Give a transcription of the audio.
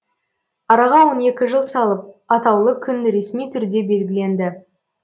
араға он екі жыл салып атаулы күн ресми түрде белгіленді